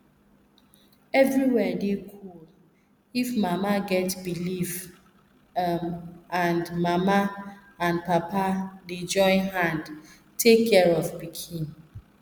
everywhere dey cool if mama get belief um and mama and papa dey join hand take care of pikin